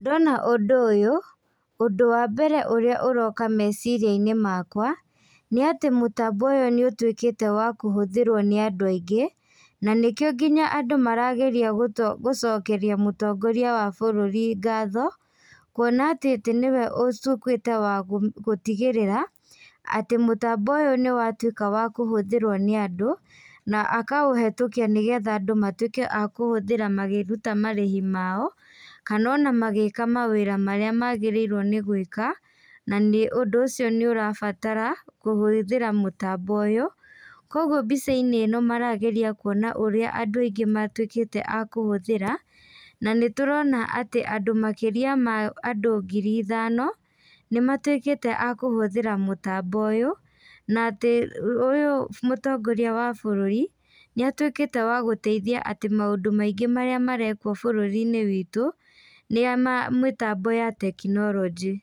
Ndona ũndũ ũyũ, ũndũ wa mbere ũrĩa ũroka meciriainĩ makwa, nĩ atĩ mũtambo ũyũ nĩ ũtuĩkĩte wa kũhũthĩrwo nĩ andũ aingĩ, na nĩkio nginya andũ marageria gũ gũcokeria mũtongoria wa bũruri ngatho, kuona atĩ tĩ nĩwe ũtuĩkĩte wa gũtigĩrĩra, atĩ mũtambo ũyũ nĩwatuĩka wa kũhũthĩrwo nĩ andũ, na akaũhetũkia nĩgetha andũ matuĩke a kũhũthĩra makĩruta marĩhi mao, kana ona magĩka mawĩra marĩa magĩrĩirwo nĩ gwĩka, na nĩ ũndũ ũcio nĩũrabatara kũhũthĩra mũtambo ũyũ, koguo mbicainĩ ĩno marageria kuona ũrĩa andũ aingĩ matuĩkĩte a kũhũthĩra, na nĩtũrona atĩ andũ makĩria ma andũ ngiri ithano, nĩmatuĩkĩte akũhũthĩra mũtambo ũyũ, na atĩ ũyũ mũtongoria wa barũri, nĩatuĩkĩte wa gũteithĩa atĩ maũndũ maingĩ marĩa marekwo bũrũrini witũ, nĩ ya ma mũtambo ya tekinolojĩ.